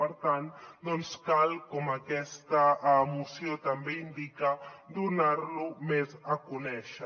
per tant cal com aquesta moció també indica donar lo més a conèixer